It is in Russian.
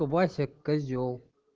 то вася козел